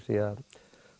því